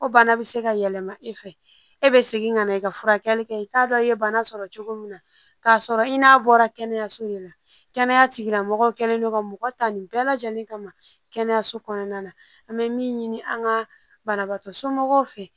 O bana bɛ se ka yɛlɛma e fɛ e bɛ segin ka na i ka furakɛli kɛ i t'a dɔn i ye bana sɔrɔ cogo min na k'a sɔrɔ i n'a bɔra kɛnɛyaso de la kɛnɛya tigilamɔgɔ kɛlen don ka mɔgɔ ta nin bɛɛ lajɛlen kama kɛnɛyaso kɔnɔna na an bɛ min ɲini an ka banabaatɔ somɔgɔw fɛ